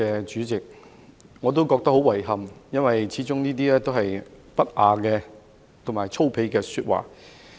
主席，我也覺得十分遺憾，因為這些始終是不雅和粗鄙的說話。